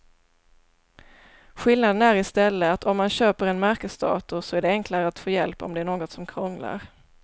Skillnaden är i stället att om man köper en märkesdator så är det enklare att få hjälp om det är något som krånglar.